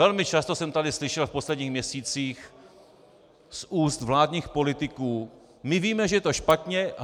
Velmi často jsem tady slyšel v posledních měsících z úst vládních politiků: My víme, že je to špatně.